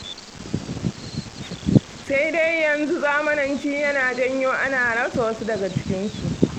Sai dai a yanzu zamananci yana janyo ana rasa wasu daga cikinsu.